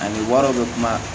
Ani wariw bɛ kuma